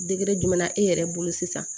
Degere jumɛn e yɛrɛ bolo sisan